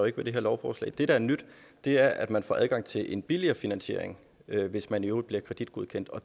ikke ved det her lovforslag det der er nyt er at man får adgang til en billigere finansiering hvis man i øvrigt bliver kreditgodkendt